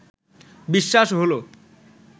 বিশ্বাস হলো